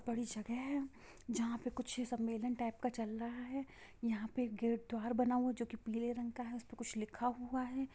बड़ी जगह है जहा पे कुछ मेला टाइप का चल रहा है| यह पर एक गेट द्वार बना हुआ है जो की पीले रंग का है| उसपे कुछ लिखा हुआ है।